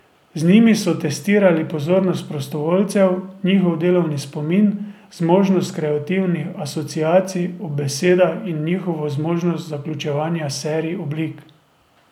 Z njimi so testirali, pozornost prostovoljcev, njihov delovni spomin, zmožnost kreativnih asociacij ob besedah in njihovo zmožnost zaključevanja serij oblik.